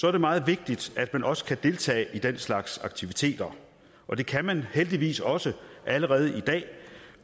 er det meget vigtigt at man også kan deltage i den slags aktiviteter og det kan man heldigvis også allerede i dag